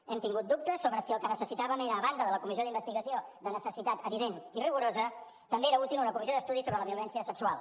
hem tingut dubtes sobre si el que necessitàvem a banda de la comissió d’investigació de necessitat evident i rigorosa també era útil una comissió d’estudi sobre la violència sexual